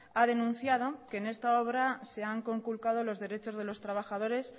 ha denunciado que en esta obra se han conculcado los derechos de los trabajadores